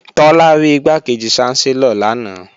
Tọ́lá rí Igbákejì ṣánsẹ́lọ̀ lanaay